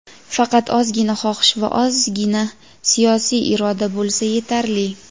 Faqat ozzzzgina xohish va ozzzzgina siyosiy iroda bo‘lsa yetarli.